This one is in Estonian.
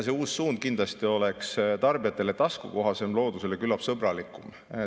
See uus suund kindlasti oleks tarbijatele taskukohasem ja loodusele küllap sõbralikum.